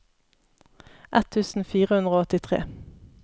ett tusen fire hundre og åttitre